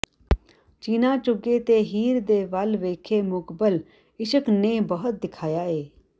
ਚੀਣਾਂ ਚੁਗੇ ਤੇ ਹੀਰ ਦੇ ਵੱਲ ਵੇਖੇ ਮੁਕਬਲ ਇਸ਼ਕ ਨੇ ਬਹੁਤ ਦੁਖਾਇਆ ਏ